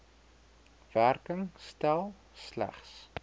werking stel slegs